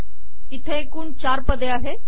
इथे एकूण चार पदे आहेत